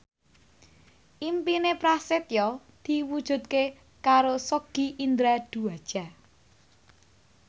impine Prasetyo diwujudke karo Sogi Indra Duaja